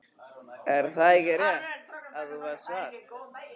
Er það ekki rétt að þú varst þar?